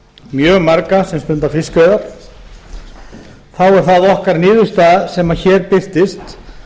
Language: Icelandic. mjög marga sem stunda fiskveiðar þá er það okkar niðurstaða sem hér birtist